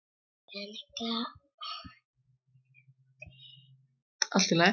Peninga lausa og fasta?